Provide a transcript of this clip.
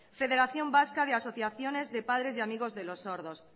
federación vasca de asociaciones de padres y amigos de los sordos